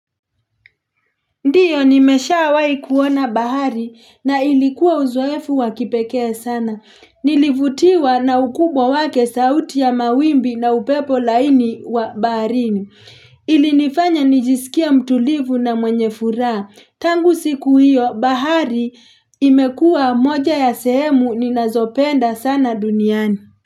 Ndiyo nimeshawai kuona bahari na ilikuwa uzoefu wakipekee sana. Nilivutiwa na ukubwa wake sauti ya mawimbi na upepo laini wa baharini. Ilinifanya nijisikie mtulivu na mwenye furaa. Tangu siku hiyo bahari imekua moja ya sehemu ninazopenda sana duniani.